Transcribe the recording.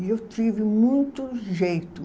E eu tive muito jeito.